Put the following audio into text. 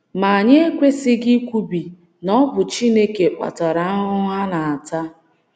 Ma anyị ekwesịghị ikwubi na ọ bụ Chineke kpatara ahụhụ ha na - ata.